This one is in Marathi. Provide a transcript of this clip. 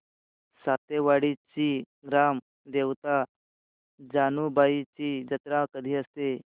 सातेवाडीची ग्राम देवता जानुबाईची जत्रा कधी असते